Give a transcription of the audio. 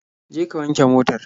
Je ka wanke motar.